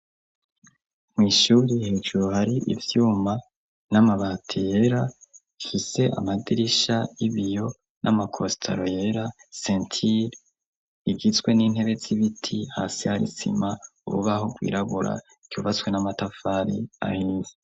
Mwishuriye hejuru hari ivyuma n'amabati yera hise amadirisha 'ibiyo n'amakostelo yera sentili igizwe n'intebe z'ibiti hasi harisima ububaho rwiragura kyubaswe n'amatafari ahinzi.